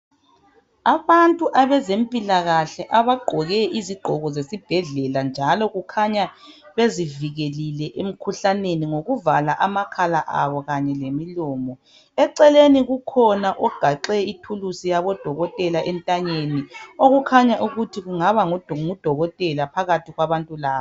Abantu abezempilakahle abagqoke izigqoko zesibhedlela njalo kukhanya bezivikelile emikhuhlaneni ngokuvala amakhala abo kanye lemilomo. Eceleni kukhona ogaxe ithulusi yabodokothela entanyeni okukhanya ukuthi kungaba ngudokotela phakathi kwabantu laba.